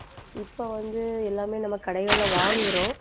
இப்ப வந்து எல்லாமே நம்ம கடைகள்ல வாங்குறோம்.